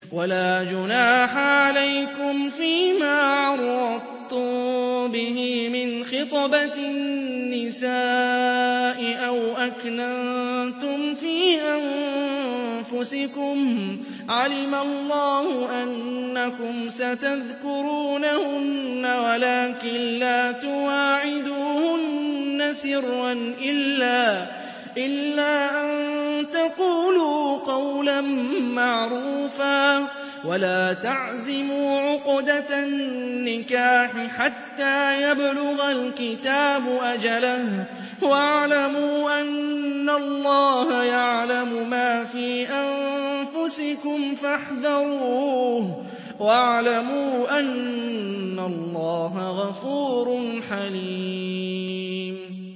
وَلَا جُنَاحَ عَلَيْكُمْ فِيمَا عَرَّضْتُم بِهِ مِنْ خِطْبَةِ النِّسَاءِ أَوْ أَكْنَنتُمْ فِي أَنفُسِكُمْ ۚ عَلِمَ اللَّهُ أَنَّكُمْ سَتَذْكُرُونَهُنَّ وَلَٰكِن لَّا تُوَاعِدُوهُنَّ سِرًّا إِلَّا أَن تَقُولُوا قَوْلًا مَّعْرُوفًا ۚ وَلَا تَعْزِمُوا عُقْدَةَ النِّكَاحِ حَتَّىٰ يَبْلُغَ الْكِتَابُ أَجَلَهُ ۚ وَاعْلَمُوا أَنَّ اللَّهَ يَعْلَمُ مَا فِي أَنفُسِكُمْ فَاحْذَرُوهُ ۚ وَاعْلَمُوا أَنَّ اللَّهَ غَفُورٌ حَلِيمٌ